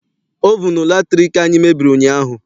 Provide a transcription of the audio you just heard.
Ovunu latriki anyị mebiri ụnyaahụ.